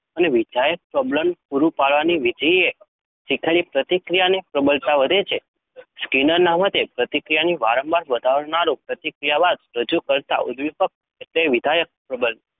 વિધાયક પ્રબલન પૂરું પાડવાથી વિધેયે શીખેલી પ્રતિક્રિયાની પ્રબળતા વધે છે. સ્કિનરના મતે પ્રતિક્રિયાની વારંવારતા વધારનારું પ્રતિક્રિયા બાદ રજૂ કરાતું ઉદ્દીપક એટલે વિધાયક પ્રબલન.